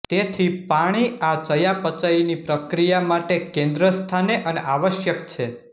તેથી પાણી આ ચયાપચયની પ્રક્રિયા માટે કેન્દ્ર સ્થાને અને આવશ્યક છે